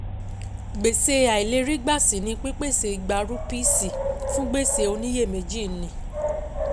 Gbèsè àìlèrígbà si ni pípèsè igba rúpíìsì fún gbèsè oníyèméjì ní